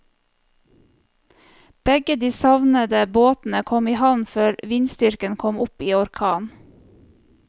Begge de savnede båtene kom i havn før vindstyrken kom opp i orkan.